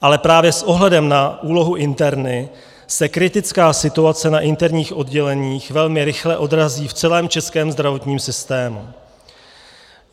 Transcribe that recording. Ale právě s ohledem na úlohu interny se kritická situace na interních odděleních velmi rychle odrazí v celém českém zdravotním systému.